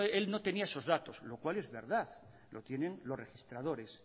él no tenía esos datos lo cual es verdad lo tienen los registradores